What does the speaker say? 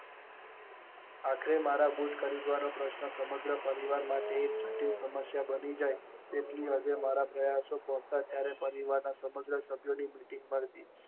આખરે મારા બુટ ખરીદવાનો પ્રશ્ન સમગ્ર પરિવાર માટે જટિલ સમસ્યા બની જાય તેટલી હદે મારી પ્રયાસો પોતાના ત્યારે સમગ્ર પરિવાર ની મિટિંગ થતી.